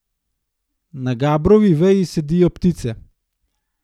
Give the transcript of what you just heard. Na gabrovi veji sedijo ptice.